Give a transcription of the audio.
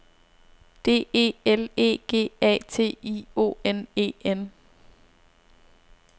D E L E G A T I O N E N